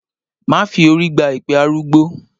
Má fi orí gba èpè arúgbó!